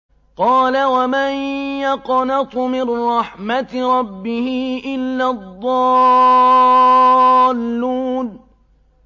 قَالَ وَمَن يَقْنَطُ مِن رَّحْمَةِ رَبِّهِ إِلَّا الضَّالُّونَ